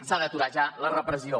s’ha d’aturar ja la repressió